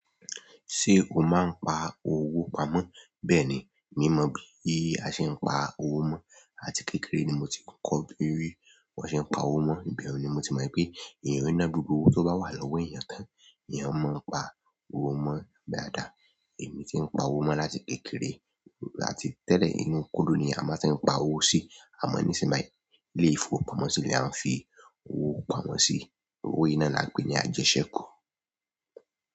Ṣé o máa ń pa owó pamọ́? Bẹ́ẹ̀ni, mi mọ bí a ṣe ń pa owó mọ. Láti kékeré ni mo ti kọ́ bí wón ṣe ń pa owó mó, ìbẹ̀un ni mo ti mọ̀ pé èèyàn i ná gbogbo owó tó bá wà lọ́wọ́ èèyàn tán, èèyàn máa ń pa owó mó dàdá. Èmi tí ń pa owó mó láti kékeré láti tẹ́lẹ̀ nínú kóló ni a máa ń ṣe ń pa owó sí. Àmọ́ nisin bayi, ilé ìfowópamọ́ sì ni a n fi owó pamọ́ sí owó yi náà lanpe ní ajẹṣẹku.